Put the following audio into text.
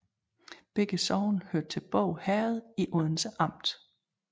Begge sogne hørte til Båg Herred i Odense Amt